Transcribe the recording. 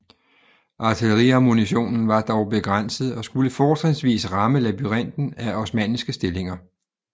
Artilleriammunitionen var dog begrænset og skulle fortrinsvis ramme labyrinten af osmanniske stillinger